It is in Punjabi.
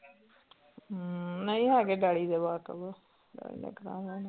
ਹਮ ਨਹੀਂ ਹੈਗੇ daddy ਦੇ ਵਾਕਫ਼ daddy ਨੇ ਕਰਵਾ ਲੈਣਾ।